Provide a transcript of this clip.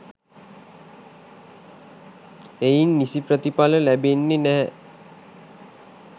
එයින් නිසි ප්‍රතිඵල ලැබෙන්නේ නැහැ.